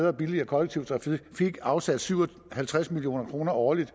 og billigere kollektiv trafik afsat syv og halvtreds million kroner årligt